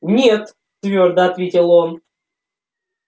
нет твёрдо ответил он